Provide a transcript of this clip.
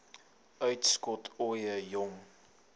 uitskot ooie jong